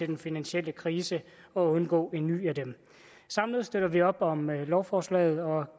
den finansielle krise for at undgå en ny af dem samlet støtter vi op om lovforslaget og